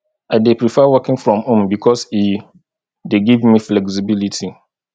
i dey prefer working from home because e dey give me flexibility